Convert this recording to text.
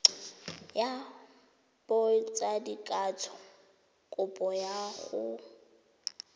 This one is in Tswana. ya botsadikatsho kopo ya go